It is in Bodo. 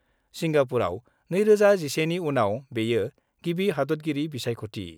सिंगापुराव 2011 नि उनाव बेयो गिबि हादतगिरि बिसायख'थि।